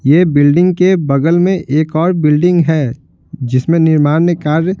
ये बिल्डिंग के बगल में एक और बिल्डिंग है जिसमें निर्माण कार्य--